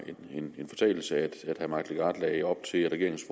en fortalelse at herre mike legarth lagde op til at regeringens